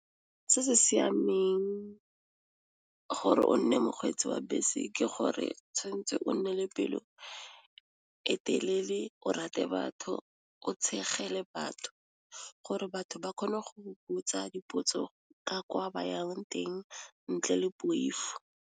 Se se siameng gore o nne mokgweetsi wa bese ke gore tshwantse o nne le pelo e telele, o rate batho, o tshege le batho gore batho ba kgone go o botsa dipotso ka kwa bayang teng ntle le poifo.